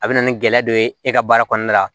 A bɛ na ni gɛlɛya dɔ ye e ka baara kɔnɔna la